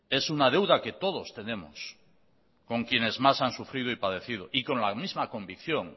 es una deuda que todos tenemos con quienes más han sufrido y padecido y con la misma convicción